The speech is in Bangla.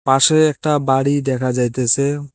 পাশে একটা বাড়ি দেখা যাইতেছে।